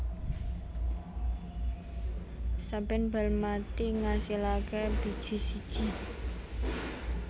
Saben bal mati ngasilaké biji siji